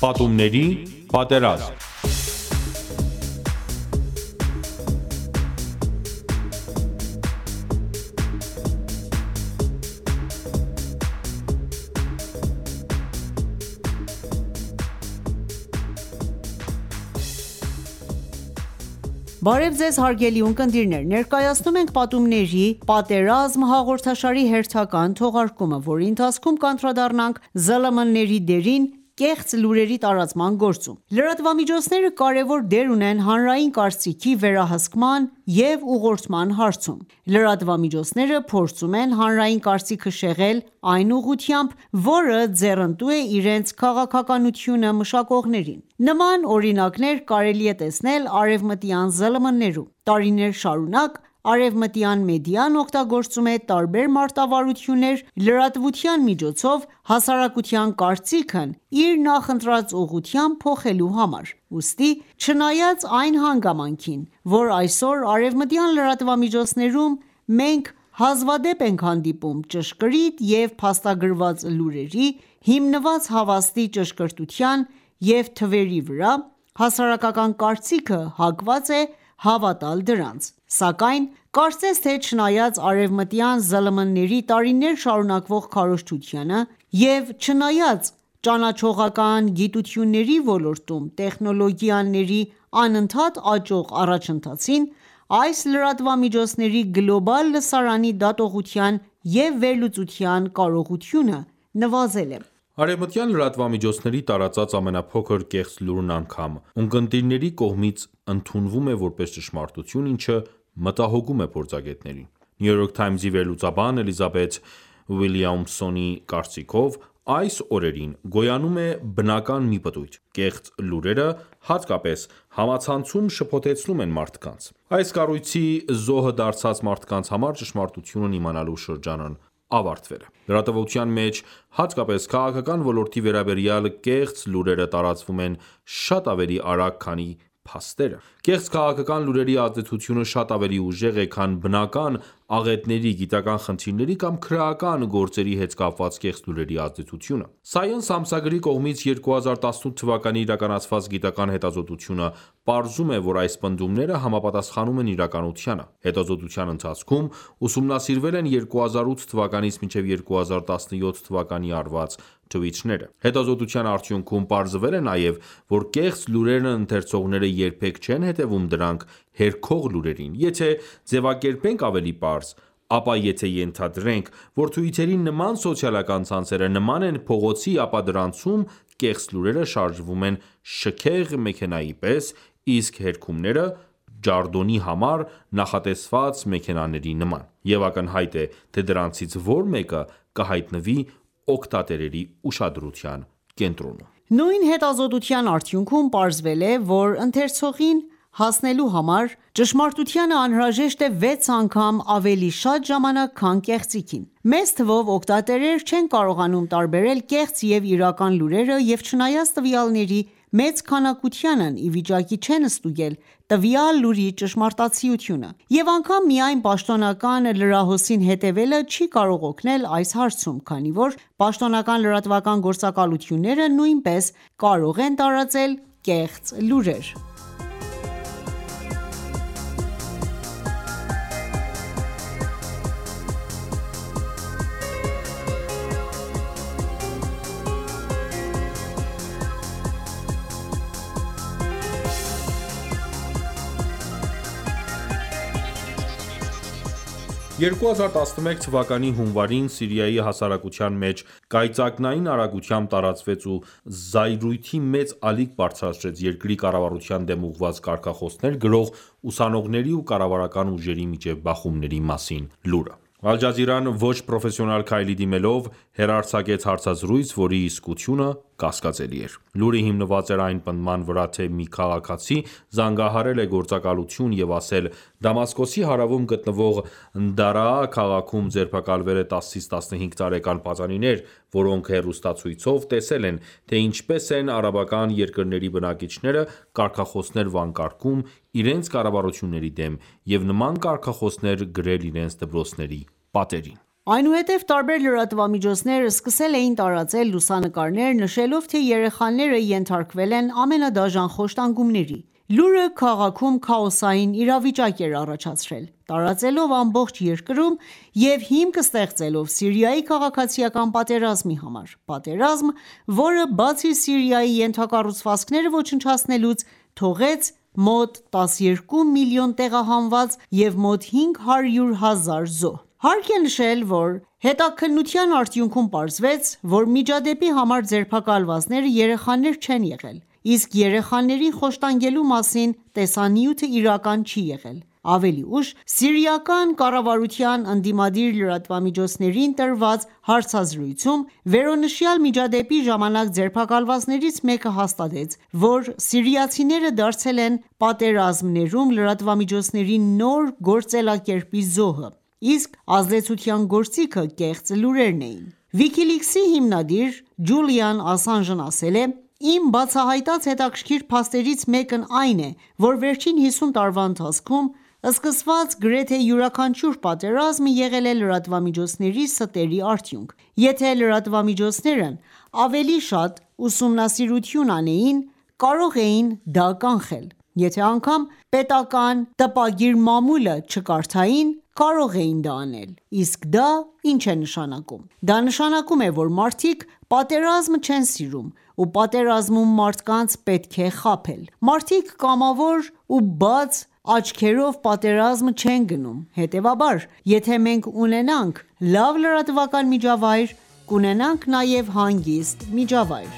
Պատումների պատերազմ(2) Բարև Ձեզ, հարգելի ունկնդիրներ: Ներկայացնում ենք «Պատումների (նարատիվների) պատերազմ» հաղորդաշարի հերթական հաղորդումը, որի ընթացքում կանդրադառնանք ԶԼՄ-ների դերին՝ կեղծ լուրերի տարածման գործում: Լրատվամիջոցները կարևոր դեր ունեն հանրային կարծիքի վերահսկման և ուղղորդման հարցում: Լրատվամիջոցները փորձում են հանրային կարծիքը շեղել այն ուղղությամբ, որը ձեռնտու է իրենց քաղաքականությունը մշակողներին: Նման օրինակներ կարելի է տեսնել արևմտյան ԶԼՄ-ներում: Տարիներ շարունակ արևմտյան մեդիան օգտագործում է տարբեր մարտավարություններ՝ լրատվության միջոցով հասարակության կարծիքն իր նախընտրած ուղղությամբ փոխելու համար: Ուստի, չնայած այն հանգամանքին, որ այսօր արևմտյան լրատվամիջոցներում մենք հազվադեպ ենք հանդիպում ճշգրիտ և փաստագրված լուրերի՝ հիմնված հավաստի վիճակագրության և թվերի վրա, հասարակական կարծիքը հակված է հավատալ դրանց: Սակայն կարծես թե չնայած արևմտյան ԶԼՄ-ների տարիներ շարունակվող քարոզչությանը և չնայած ճանաչողական գիտությունների ոլորտում տեխնոլոգիաների անընդհատ աճող առաջընթացին, այս լրատվամիջոցների գլոբալ լսարանի դատողության և վերլուծության կարողությունը նվազել է: Արևմտյան լրատվամիջոցների տարածած ամենափոքր կեղծ լուրն անգամ, ունկնդիրների կողմից ընդունվում է որպես ճշմարտություն, ինչը մտահոգում է փորձագետներին: New York Times-ի վերլուծաբան Էլիզաբեթ Ուիլյամսոնի կարծիքով. «Այս օրերին գոյանում է բնական մի պտույտ: Կեծղ լուրերը, հատկապես համացանցում, շփոթեցնում են մարդկանց: Այս կառույցի զոհը դարձած մարդկանց համար ճշմարտությունն իմանալու շրջանն ավարտվել է»: Լրատվության մեջ հատկապես քաղաքական ոլորտի վերաբերյալ կեղծ լուրերը տարածվում են շատ ավելի արագ, քանի փաստերը: Կեղծ քաղաքական լուրերի ազդեցությունը շատ ավելի ուժեղ է, քան բնական աղետների, գիտական խնդիրների կամ քրեական գործերի հետ կապված կեղծ լուրերի ազդեցությունը։ Science ամսագրի կողմից 2018թ իրականացված գիտական հետազոտությունը պարզում է, որ այս պնդումները համապատասխանում են իրականությանը: Հետազոտության ընթացքում ուսումնասիրվել են 2008-2017թթ արված թվիթները: Հետազտության արդյունքում պարզվել է նաև, որ կեղծ լուրերն ընթերցողները երբեք չեն հետևում դրանք հերքող լուրերին: Եթե ձևակերպենք ավելի պարզ, ապա եթե ենթադրենք, որ Twitter-ի նման սոցիալական ցանցերը նման են փողոցի, ապա դրանցում կեղծ լուրերը շարժվում են շքեղ մեքենայի պես, իսկ հերքումները՝ ջարդոնի համար նախատեսված մեքենաների նման։ Եվ ակնհայտ է, թե դրանցից որ մեկը կհայտնվի օգտատերերի ուշադրության կենտրոնում: Նույն հետազոտության արդյունքում պարզվել է, որ ընթերցողին հասնելու համար ճշմարտությանը անհրաժեշտ է 6 անգամ ավելի շատ ժամանակ, քան կեղծիքին: Մեծ թվով օգտատերեր չեն կարողանում տարբերել կեղծ և իրական լուրերը և չնայած տվյալների մեծ քանակությանն ի վիճակի չեն ստուգել տվյալ լուրի ճշմարտացիությունը: Եվ անգամ միայն պաշտոնական լրահոսին հետևելը չի կարող օգնել այս հարցում, քանի որ պաշտոնական լրատվական գործակալությունները նույնպես կարող են տարածել կեղծ լուրեր: 2011թ. հունվարին Սիրիայի հասարակության մեջ կայծակնային արագությամբ տարածվեց ու զայրույթի մեծ ալիք բարձրացրեց երկրի կառավարության դեմ ուղված կարգախոսներ գրող ուսանողների ու կառավարական ուժերի միջև բախումների մասին լուրը: Al Jazeera-ն ոչ պրոֆեսիոնալ քայլի դիմելով, հեռարձակեց հարցազրույց, որի իսկությունը կասկածելի էր: Լուրը հիմնված էր այն պնդման վրա, թե մի քաղաքացի զանգահարել է գործակալություն և ասել. «Դամասկոսի հարավում գտնվող Դարաա քաղաքում ձերբակալվել են 10-ից 15 տարեկան պատանիներ, որոնք հեռուստացույցով տեսել են, թե ինչպես են արաբական երկրների բնակիչները կարգախոսներ վանկարկում իրենց կառավարությունների դեմ և նման կարգախոսներ գրել իրենց դպրոցների պատերին»: Այնուհետև տարբեր լրատվամիջոցներ սկսել էին տարածել լուսանկարներ, նշելով, թե երեխաները ենթարկվել են ամենադաժան խոշտանգումների: Լուրը քաղաքում քաոսային իրավիճակ էր առաջացրել, տարածվելով ամբողջ երկրում և հիմք ստեղծելով Սիրիայի քաղաքացիկան պատերազմի համար: Պատերազմ, որը, բացի Սիրիայի ենթակառուցվածքները ոչնչացնելուց, թողեց մոտ 12 միլիոն տեղահանված և մոտ 500 հազար զոհ: Հարկ է նշել, որ հետաքննության արդյունքում պարզվեց, որ միջադեպի համար ձերբակալվածները երեխաներ չեն եղել, իսկ երեխաներին խոշտանգելու մասին տեսանյութը իրական չի եղել: Ավելի ուշ, սիրիական կառավարության ընդդիմադիր լրատվամիջոցներին տված հարցազրույցում, վերոնշյալ միջադեպի ժամանակ ձերբակալվածներից մեկը հաստատեց, որ սիրիացիները դարձել են պատերազմներում լրատվամիջոցների նոր գործելակերպի զոհը։ Իսկ ազդեցության գործիքը կեղծ լուրերն էին։ WikiLeaks-ի հիմնադիր Ջուլիան Ասանժն ասել է. «Իմ բացահայտած հետաքրքիր փաստերից մեկն այն է, որ վերջին 50 տարվա ընթացքում սկսված գրեթե յուրաքանչյուր պատերազմ եղել է լրատվամիջոցների ստերի արդյունք։ Եթե լրատվամիջոցներն ավելի շատ ուսումնասիրություն անեին, կարող էին դա կանխել: Եթե անգամ պետական տպագիր մամուլը չկարդային, կարող էին դա անել: Իսկ դա ինչ է նշանակում: Դա նշանակում է, որ մարդիկ պատերազմ չեն սիրում ու պատերազմում մարդկանց պետք է խաբել: Մարդիկ կամավոր ու բաց աչքերով պատերազմ չեն գնում Հետեւաբար, եթե մենք ունենանք լավ լրատվական միջավայր, կունենանք նաև հանգիստ միջավայր»: